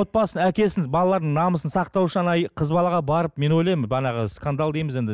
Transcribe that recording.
отбасын әкесін балалардың намысын сақтау үшін қыз балаға барып мен ойлаймын бағанағы скандал дейміз енді